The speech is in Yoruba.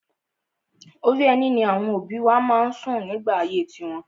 Orí ẹní ni àwọn òbí wa má ń sùn nígbà ayé tiwọn.